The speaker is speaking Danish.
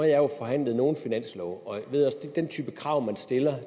jo forhandlet nogle finanslove og i den type krav man stiller